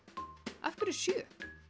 af hverju sjö